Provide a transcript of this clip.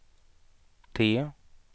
T